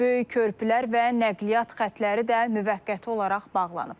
Böyük körpülər və nəqliyyat xətləri də müvəqqəti olaraq bağlanıb.